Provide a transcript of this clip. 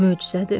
Möcüzədir.